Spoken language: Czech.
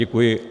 Děkuji.